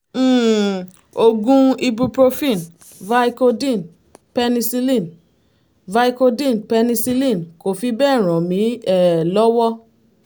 um oògùn ibuprofen vicodin penicillin vicodin penicillin kò fi bẹ́ẹ̀ ràn mí um lọ́wọ́